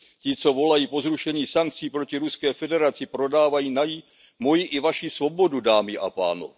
Ti, co volají po zrušení sankcí proti Ruské federaci, prodávají moji i vaši svobodu, dámy a pánové.